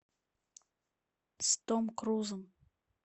с томом крузом